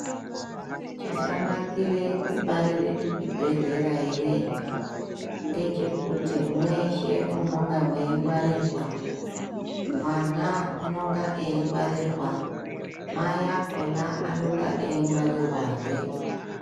Chakanakire kubarire kuchibhehlera ere ngechekuti mweshe munenge mweingwarirwa mwana unenge eingwarirwa mai akona anenge eingwarirwahe .